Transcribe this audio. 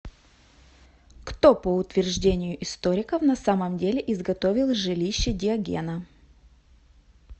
кто по утверждению историков на самом деле изготовил жилище диогена